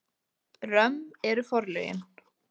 Römm eru forlögin.